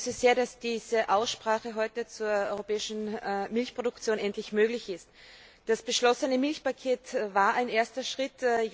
Ich begrüße sehr, dass diese Aussprache heute zur europäischen Milchproduktion endlich möglich ist. Das beschlossene Milchpaket war ein erster Schritt.